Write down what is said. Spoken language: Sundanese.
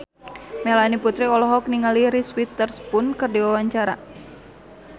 Melanie Putri olohok ningali Reese Witherspoon keur diwawancara